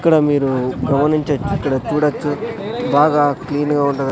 ఇక్కడ మీరు గమనించొచ్చు ఇక్కడ చూడొచ్చు బాగా క్లీన్ గా ఉంటది.